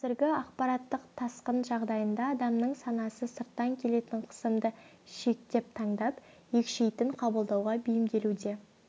қазіргі ақпараттық тасқын жағдайында адамның санасы сырттан келетін қысымды шектеп таңдап екшейтін қабылдауға бейімделуде